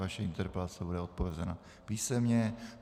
Vaše interpelace bude odpovězena písemně.